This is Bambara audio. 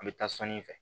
An bɛ taa sɔni fɛ